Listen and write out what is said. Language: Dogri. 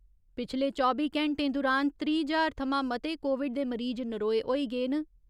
पिछले चौबी घैंटें दुरान त्रीह् ज्हार थमां मते कोविड दे मरीज नरोए होई गे न।